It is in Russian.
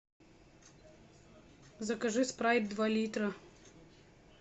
закажи спрайт два литра